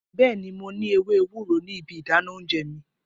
Bẹẹni, mo ni ewe ewuro ni ibi idana ounje mi.